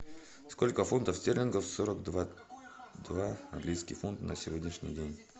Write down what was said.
сколько фунтов стерлингов сорок два два английский фунт на сегодняшний день